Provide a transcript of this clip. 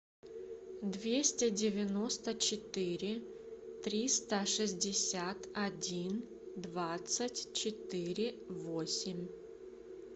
двести девяносто четыре триста шестьдесят один двадцать четыре восемь